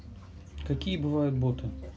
какие бывают боты